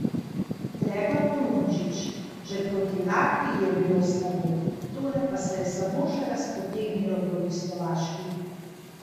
Gregor Polončič: "Že proti Latviji je bilo slabo, tole pa se je samo še razpotegnilo proti Slovaški.